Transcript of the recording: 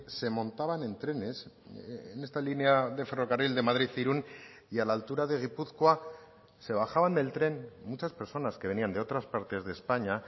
se montaban en trenes en esta línea de ferrocarril de madrid irún y a la altura de gipuzkoa se bajaban del tren muchas personas que venían de otras partes de españa